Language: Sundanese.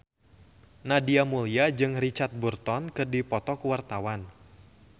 Nadia Mulya jeung Richard Burton keur dipoto ku wartawan